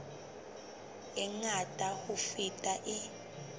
e ngata ho feta e